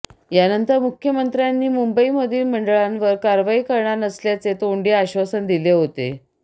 यानंतर मुख्यमंत्र्यांनी मुंबई मधील मंडळांवर कारवाई करणार नसल्याचे तोंडी आश्वासन दिले होते